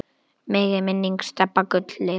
Megi minning Stebba Gull lifa.